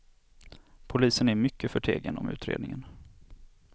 Polisen är mycket förtegen om utredningen.